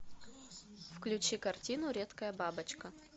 включи картину редкая бабочка